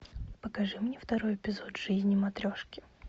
покажи мне второй эпизод жизни матрешки